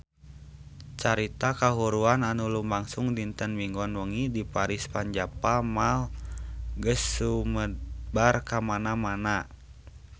Carita kahuruan anu lumangsung dinten Minggon wengi di Paris van Java Mall geus sumebar kamana-mana